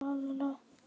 Verður góð saga.